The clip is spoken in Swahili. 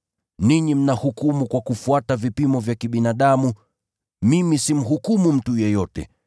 Ninyi mnahukumu kwa kufuata vipimo vya kibinadamu, mimi simhukumu mtu yeyote.